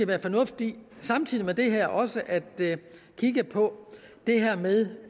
være fornuftigt samtidig med det her også at kigge på det med